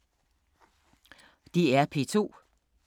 DR P2